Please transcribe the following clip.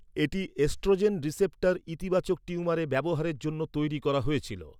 এটি oestrogen receptor ইতিবাচক টিউমারে ব্যবহারের জন্য তৈরি করা হয়েছিল।